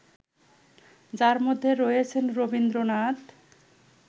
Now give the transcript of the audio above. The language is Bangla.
যার মধ্যে রয়েছেন রবীন্দ্রনাথ